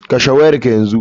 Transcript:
Kashe wayar ka yanzu.